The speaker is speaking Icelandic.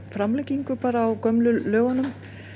framlengingu á gömlu lögunum